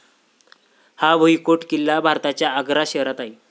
हा भुईकोट किल्ला भारताच्या आग्रा शहरात आहे.